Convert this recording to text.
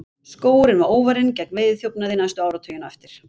Skógurinn var óvarinn gegn veiðiþjófnaði næstu áratugina á eftir.